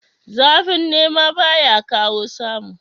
Zafin nema baya kawo samu